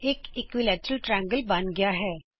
ਇਕ ਸਮਭੂਜ ਏਬੀਸੀ ਬਣ ਗਿਆ ਹੈ